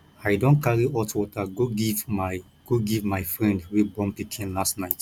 i don carry hot water go give my go give my friend wey born pikin last night